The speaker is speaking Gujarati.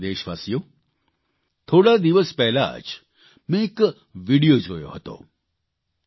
મારા વ્હાલા દેશવાસીઓ થોડા દિવસ પહેલાં જ મેં એક વિડિયો જોયો હતો